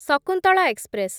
Shakuntala express